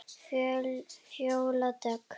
Fjóla Dögg.